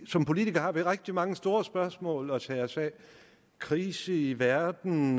som politikere rigtig mange store spørgsmål at tage os af krise i verden